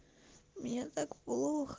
мне так плохо